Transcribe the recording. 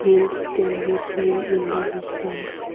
hills can be seen in the distance.